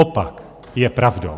Opak je pravdou.